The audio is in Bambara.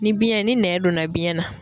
Ni biyɛn ni nɛn donna biyɛn na